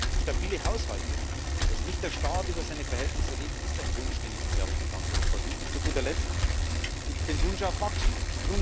Das heißt Stabile Haushalte dass der Staat nicht über seine Verhältnisse lebt ist ein Wunsch, den es, glaube ich, in ganz Europa gibt. Und zu guter Letzt gibt es den Wunsch nach Wachstum.